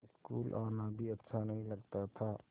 school आना भी अच्छा नहीं लगता था